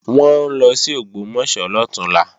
Wọ́n ń lọ sí Ògbómọ̀ṣọ́ lọ̀túnla